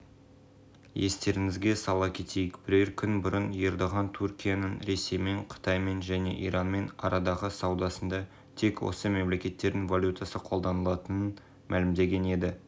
сонымен қатар түркияның сауда палатасы да аталған бастамаға қосылды ведомства басшысы ибрагим чағлардың айтуынша ел аумағында сауда палатасы тек түрік лирасын